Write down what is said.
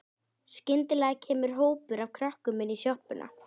Skyndilega kemur hópur af krökkum inn í sjoppuna.